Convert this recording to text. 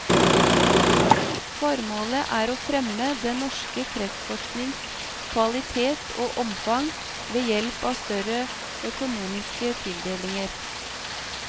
Formålet er å fremme den norske kreftforsknings kvalitet og omfang ved hjelp av større økonomiske tildelinger.